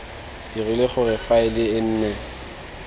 dirile gore faele e nne